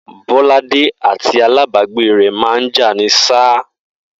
Bó̩ládé àti alábàágbé rè̩ máa ń jà ni s̩á